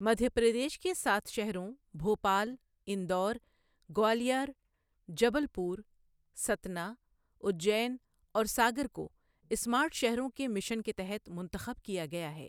مدھیہ پردیش کے سات شہروں بھوپال، اندور، گوالیار، جبل پور، ستنا، اجین اور ساگر کو اسمارٹ شہروں کے مشن کے تحت منتخب کیا گیا ہے۔